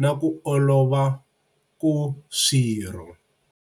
na ku olova ku swirho.